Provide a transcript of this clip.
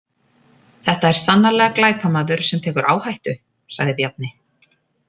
Þetta er sannarlega glæpamaður sem tekur áhættu, sagði Bjarni.